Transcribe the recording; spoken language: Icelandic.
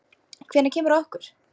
Hvenær kemur að okkur?